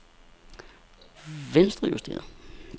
venstrejusteret